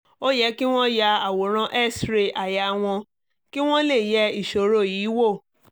ó yẹ kí wọ́n ya àwòrán x-ray àyà wọn kí wọ́n lè yẹ ìṣòro yìí wò